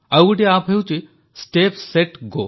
ଆଉ ଗୋଟିଏ ଆପ୍ ହେଉଛି ଷ୍ଟେପ୍ ସେଟ୍ ଗୋ